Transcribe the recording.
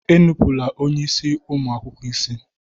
Enupụla onye isi ụmụ akwụkwọ isi!